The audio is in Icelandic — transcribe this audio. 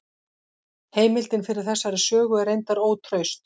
Heimildin fyrir þessari sögu er reyndar ótraust.